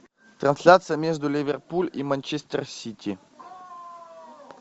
трансляция между ливерпуль и манчестер сити